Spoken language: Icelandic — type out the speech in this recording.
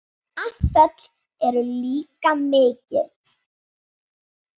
Afföll eru líka mikil.